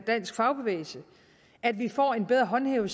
dansk fagbevægelse at vi får en bedre håndhævning